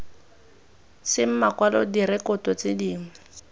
seng makwalo direkoto tse dingwe